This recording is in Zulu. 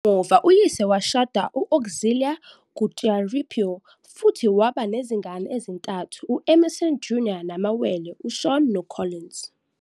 Kamuva uyise washada no- Auxillia Kutyauripo futhi waba nezingane ezintathu- u-Emmerson Jr. namawele uSean noCollins.